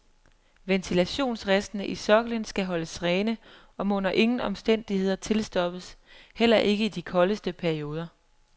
Ventilationsristene i soklen skal holdes rene og må under ingen omstændigheder tilstoppes, heller ikke i de koldeste perioder.